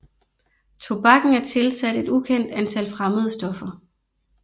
Tobakken er tilsat et ukendt antal fremmede stoffer